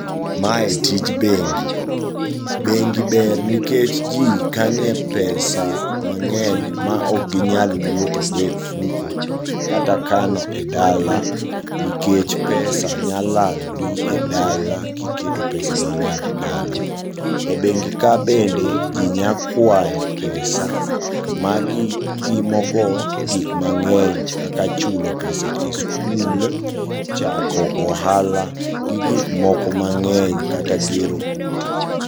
Mae tij bengi. Bengi ber nikech jii kanie pesa mang'eny maok ginyal wuothogo e ofuko kata kano e dala nikech pesa nyalalni e dala kiketo pesa mang'eny e dala. E bengi ka bende jii nyakwayo pesa magitimogo gik mang'eny kaka chulo pesa e skul, chako ohala, gi gikmoko mang'eny kata gero udi.